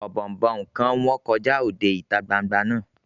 Ọ̀bọ̀ọ̀nbọọ̀n kan wọ́ kọjá òde ìta gbangba náà